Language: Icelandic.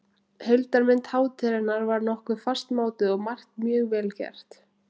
Heildarmynd hátíðarinnar var nokkuð fastmótuð og margt mjög vel gert.